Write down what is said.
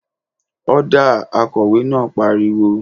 Ọ́dà!, Akọ̀wé náà pariwo